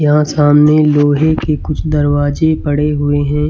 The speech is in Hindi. यहां सामने लोहे के कुछ दरवाजे पड़े हुए हैं।